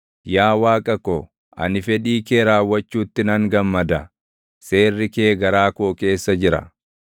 Yaa Waaqa ko, ani fedhii kee raawwachuutti nan gammada; seerri kee garaa koo keessa jira.”